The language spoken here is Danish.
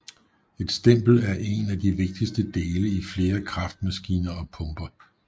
Et stempel er en af de vigtigste dele i flere kraftmaskiner og pumper